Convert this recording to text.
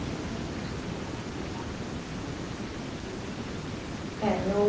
Você começou a estudar lá nessa cidade Berilo? É, meu